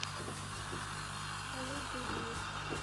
салют биби